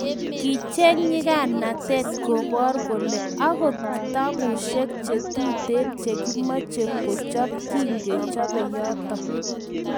kicheng nyikanatet kobor kole akot kitabusheck chetuten chekimeche kichop kukikichope yoto